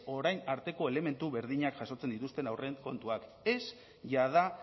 orain arteko elementu berdinak jasotzen dituzten aurrekontuak ez jada